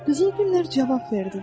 Qızıl güllər cavab verdilər.